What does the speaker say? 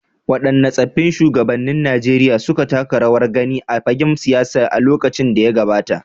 Waɗanne tsaffin shugabannin Najeriya suka taka rawar gani a fagen siyasa a lokacin da ya gabata.